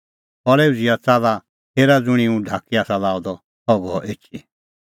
खल़ै उझ़िआ च़ाल्ला हेरा ज़ुंणी हुंह ढाकी आसा लाअ द सह गअ एछी